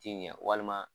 Ti ɲɛ walima